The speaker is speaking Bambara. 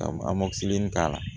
Ka k'a la